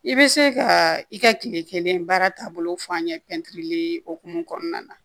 I bɛ se ka i ka kile kelen baara taabolo fɔ an ye pɛntiri hukumu kɔnɔna na